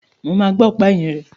Mo ma gbá ọ̀pá ẹ̀yìn rẹ̀.